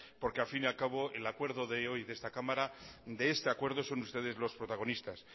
porque al fin y al cabo el acuerdo de hoy de esta cámara de este acuerdo son ustedes los protagonistas